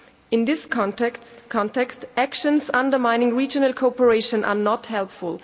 In this context, actions undermining regional cooperation are not helpful.